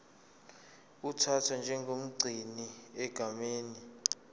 uthathwa njengomgcini egameni